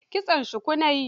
Kitson shuku na yi